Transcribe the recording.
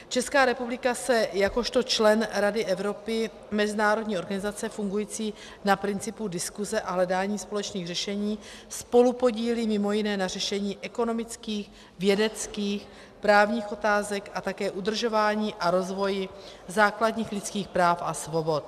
Česká republika se jakožto člen Rady Evropy, mezinárodní organizace fungující na principu diskuse a hledání společných řešení, spolupodílí mimo jiné na řešení ekonomických, vědeckých, právních otázek a také udržování a rozvoji základních lidských práv a svobod.